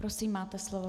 Prosím, máte slovo.